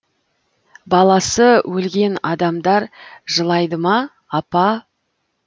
баласы өлген адамдар жылайды ма апа